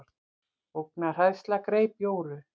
Ógnarhræðsla greip Jóru.